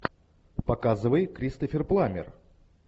показывай кристофер пламмер